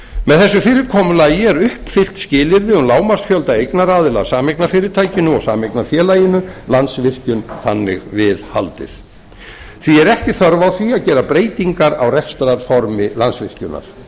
með þessu fyrirkomulagi er uppfyllt skilyrði um lágmarksfjölda eignaraðila að sameignarfyrirtækinu og sameignarfélaginu landsvirkjun þannig við haldið því er ekki þörf á því að gera breytingar á rekstrarformi landsvirkjunar